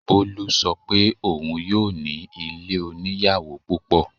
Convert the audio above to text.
Bolu ṣọ pé òun yóò ní ilé oníyàwò púpọ̀.